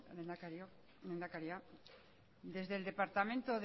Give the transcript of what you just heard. lehendakaria desde el departamento